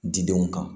Didenw kan